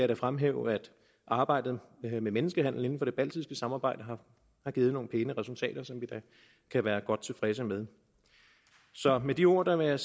da fremhæve at arbejdet med menneskehandel inden for det baltiske samarbejde har givet nogle pæne resultater som vi da kan være godt tilfredse med så med de ord vil jeg